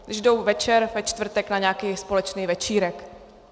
Když jdou večer ve čtvrtek na nějaký společný večírek.